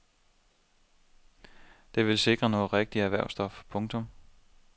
De vil skrive noget rigtig erhvervsstof. punktum